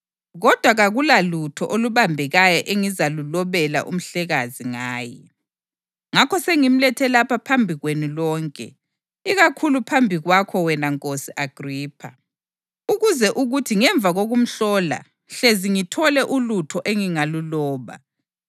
Kodwa kakulalutho olubambekayo engizalulobela uMhlekazi ngaye. Ngakho sengimlethe lapha phambi kwenu lonke, ikakhulu phambi kwakho wena Nkosi Agripha, ukuze kuthi ngemva kokumhlola hlezi ngithole ulutho engingaluloba.